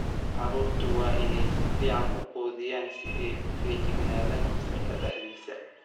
Carruurtu waa inay si fiican u quudiyaan si ay u feejignaadaan fasalka dhexdiisa.